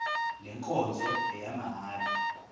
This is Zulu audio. le nkonzo ngeyamahala